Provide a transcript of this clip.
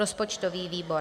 Rozpočtový výbor: